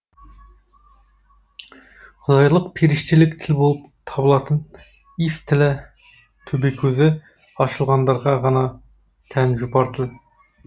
құдайлық періштелік тіл болып табылатын и с тілі төбекөзі ашылғандарға ғана тән жұпар тіл